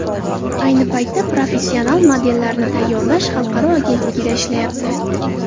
Ayni paytda professional modellarni tayyorlash xalqaro agentligida ishlayapti.